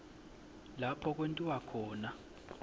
lapho kwentiwa khona